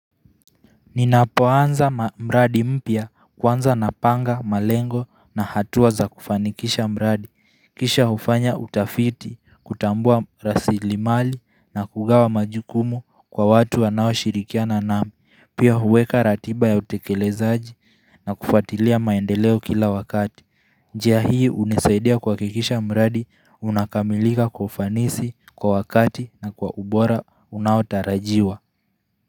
Ninapoanza mradi mpya kwanza napanga malengo na hatuwa za kufanikisha mbradi Kisha hufanya utafiti kutambua rasilimali na kugawa majukumu kwa watu wanao shirikiana nami Pia huweka ratiba ya utekelezaji na kufatilia maendeleo kila wakati njia hii unisaidia kuhakikisha mradi unakamilika kwa ufanisi kwa wakati na kwa ubora unaotarajiwa.